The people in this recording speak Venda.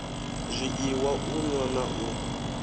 zwiiwa u nwa na u